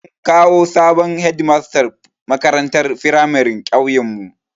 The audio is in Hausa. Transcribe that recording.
An kawo sabon Hedimasta makarantar firamarin ƙauyen mu